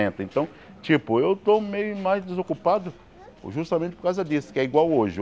então, tipo, eu estou meio mais desocupado justamente por causa disso, que é igual hoje.